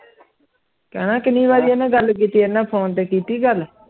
ਕੈਨਾ ਕੀਨੀ ਵਾਰੀ ਐਨੇ ਗੱਲ ਕੀਤੀ ਐਡੇ ਨਾਲ ਫੋਨ ਕੀਤੀ ਗੱਲ